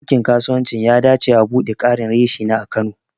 Bankin kasuwanci ya dace au buɗe ƙarin reshina a kano.